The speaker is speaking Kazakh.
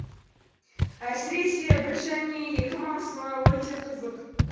әсіресе бір және екі маусымы өте қызық